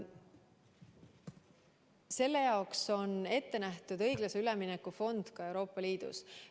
Selle jaoks on ette nähtud õiglase ülemineku fond Euroopa Liidus.